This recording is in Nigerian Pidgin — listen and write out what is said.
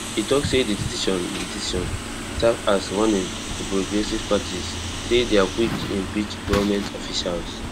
e tok say di decision di decision serve as warning to progressive parties say dia quick to impeach goment officials